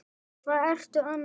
Hvað ertu annars að gera?